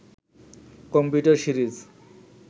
computer series